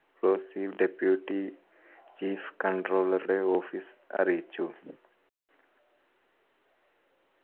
deputy chief controller ഉടെ office അറിയിച്ചു.